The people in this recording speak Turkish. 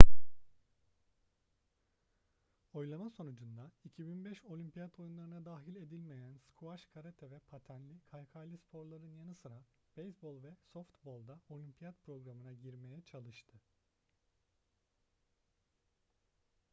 oylama sonucunda 2005 olimpiyat oyunlarına dahil edilmeyen squash karate ve patenli/kaykaylı sporların yanı sıra beyzbol ve softbol da olimpiyat programına girmeye çalıştı